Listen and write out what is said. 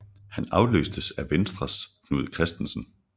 Han afløstes af Venstres Knud Kristensen